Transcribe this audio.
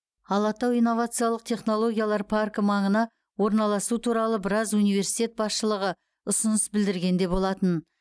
алатау инновациялық технологиялар паркі маңына орналасу туралы біраз университет басшылығы ұсыныс білдірген де болатын